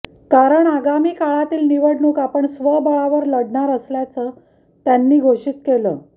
कारण आगामी काळातील निवडणूक आपण स्वबळावर लढणार असल्याचं त्यांनी घोषित केलं